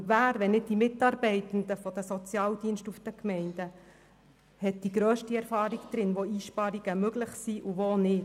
Denn wer, wenn nicht die Mitarbeitenden der Sozialdienste der Gemeinden, verfügt über die grösste Erfahrung, um zu beurteilen, wo Einsparungen möglich sind und wo nicht?